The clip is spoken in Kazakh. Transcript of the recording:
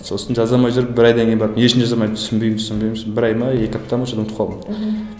сосын жаза алмай жүріп бір айдан кейін барып не үшін жаза алмайтынымды түсінбеймін түсінбеймін сосын бір ай ма екі апта ма соны ұмытып қалдым мхм